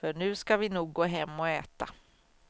För nu ska vi nog gå hem och äta.